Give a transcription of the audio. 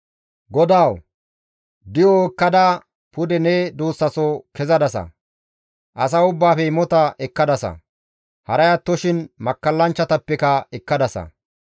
GODAWU! Di7o ekkada pude ne duussas kezadasa; asa ubbaafe imota ekkadasa; haray attoshin makkallanchchatappeka ekkadasa;